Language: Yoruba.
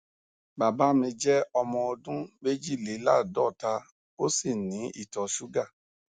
bàbá mi jẹ ọmọ ọdún méjìléláàádọta ó sì ní ìtọ ṣúgà